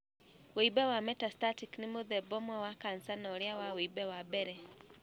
Wimbe wa metastatic nĩ mũthemba ũmwe wa kanca na ũrĩa wa wimbe wa mbere.